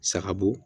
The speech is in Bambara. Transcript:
Sagabo